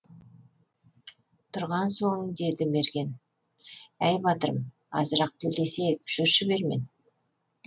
тұрған соң деді мерген әй батырым азырақ тілдесейік жүрші бермен